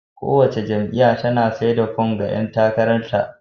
Kowace jam'iyya tana sai da fom ga ƴan takarar ta.